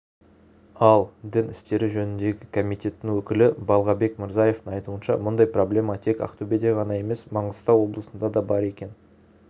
ал дін істері жөніндегі комитеттің өкілі балғабек мырзаевтың айтуынша мұндай проблема тек ақтөбеде ғана емес маңғыстау облысында да бар екен